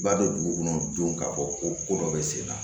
Ba don dugu kɔnɔ jo k'a fɔ ko ko dɔ be sen na